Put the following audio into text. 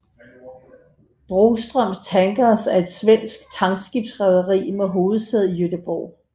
Broström Tankers er et svensk tankskibsrederi med hovedsæde i Göteborg